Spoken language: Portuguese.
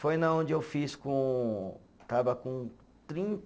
Foi na onde eu fiz com, estava com